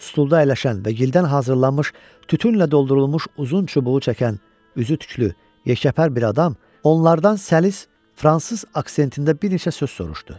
Stulda əyləşən və gildən hazırlanmış tütünlə doldurulmuş uzun çubuğu çəkən, üzü tüklü, yekəpər bir adam onlardan səlis fransız aksentində bir neçə söz soruşdu.